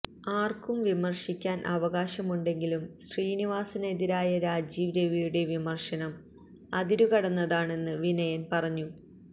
ആര്ക്കും വിമര്ശിക്കാന് അവകാശമുണ്ടെങ്കിലും ശ്രീനിവാസനെതിരായ രാജീവ് രവിയുടെ വിമര്ശനം അതിരുകടന്നതാണെന്ന് വിനയന് പറഞ്ഞു